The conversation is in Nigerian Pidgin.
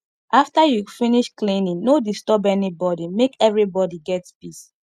after you finish cleaning no disturb anybody make everybody get peace